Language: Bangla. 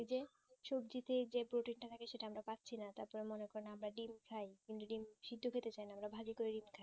সবজিতে যে প্রোটিন তা থাকে সেটা আমরা পাচ্ছি না তাতে আমরা দেখুন আমরা ডিম্ খাই কিন্তু ডিম্ সিদ্দ খেতে চাই না আমরা ভাজি করে ডিম খাই